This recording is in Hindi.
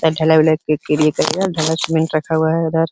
आ ढलाई वलाई के लिए करेगा। ढला सिमेन्ट रखा हुआ है उधर। --